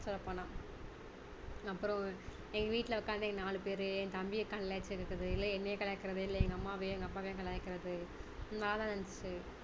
சொல்ல போனா அப்பறம் எங்க வீட்டுல உட்கார்ந்து நாலு பேரு என் தம்பிய கலாய்ச்சி எடுக்கிறது இல்ல என்னை கலாய்க்கிறது இல்ல எங்க அம்மாவையும் அப்பாவையும் கலாய்க்கிறது நல்லா இருந்துச்சி